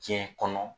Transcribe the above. Diɲɛ kɔnɔ